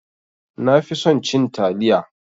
Nafi son cin taliya